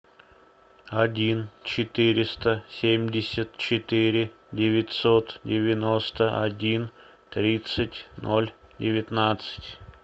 один четыреста семьдесят четыре девятьсот девяносто один тридцать ноль девятнадцать